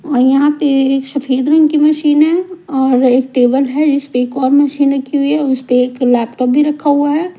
और यहाँ पे एक सफेद रंग की मशीन है और एक टेबल है जिस पे एक और मशीन रखी हुई है उस पे एक लैपटॉप भी रखा हुआ है।